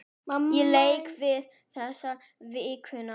Ég lék vel þessa vikuna.